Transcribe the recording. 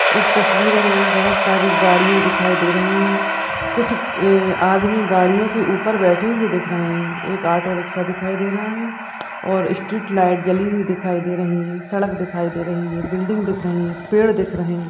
इस तस्वीर में बहुत सारी गाड़ियां दिखाई दे रही हैं। कुछ आदमी गाड़ियों के ऊपर बैठे हुए दिख रहे हैं। एक ऑटो रिक्शा दिखाई दे रहा है और स्ट्रीट लाइट जली हुई दिखाई दे रही हैं। सड़क दिखाई दे रही है। बिल्डिंग दिख रही हैं पेड़ दिख रहे हैं।